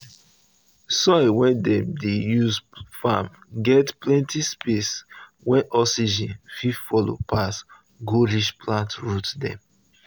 soil wey dem dey use farm get plenty space wey oxygen fit follow pass go reach plant roots dem.